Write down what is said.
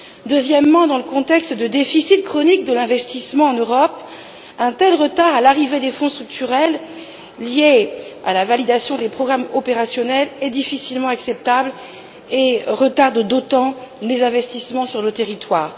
Deuxièmement, dans le contexte de déficit chronique de l'investissement en Europe, un tel retard dans l'arrivée des Fonds structurels, lié à la validation des programmes opérationnels, est difficilement acceptable et retarde d'autant les investissements sur le territoire.